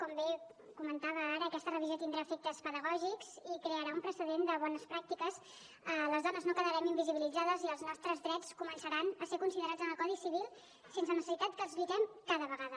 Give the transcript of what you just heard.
com bé comentava ara aquesta revisió tindrà efectes pedagògics i crearà un precedent de bones pràctiques les dones no quedarem invisibilitzades i els nostres drets començaran a ser considerats en el codi civil sense necessitat que els lluitem cada vegada